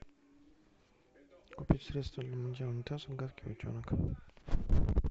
купить средство для мытья унитазов гадкий утенок